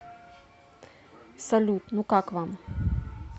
салют ну как вам